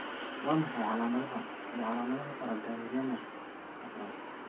Waa maxay calaamadaha iyo calaamadaha Paragangliomaka afraad?